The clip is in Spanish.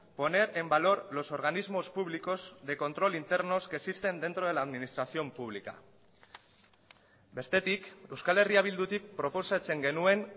poner en valor los organismos públicos de control internos que existen dentro de la administración pública bestetik euskal herria bildutik proposatzen genuen